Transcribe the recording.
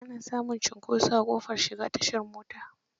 Ana samun cinkoso a ƙofar tashar mota.